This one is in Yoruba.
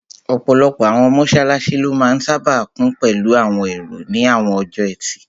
Ọ̀pọ̀lọpọ̀ àwọn mọ́sálásí ló máa n sáábà kún pẹ̀lú àwọn èrò ní àwọn ọjọ́ ẹtì